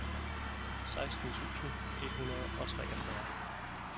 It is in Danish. seksten tusind et hundrede og treogfyrre